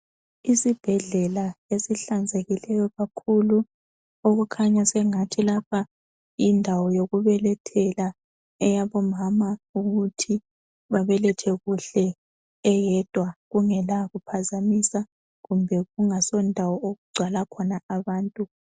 Isibhedlela esihlanzekileyo kakhulu, okukhanya sengathi lapha yindawo yokubelethela eyabomama ukuthi babelethe kuhle eyedwa kungela kuphazamisa kumbe kungaso ndawo okugcwala khona abantu.